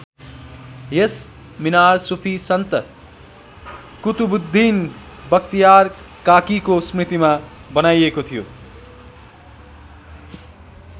यस मिनार सुफी सन्त कुतुबुद्दीन बख्तियार काकीको स्मृतिमा बनाइएको थियो।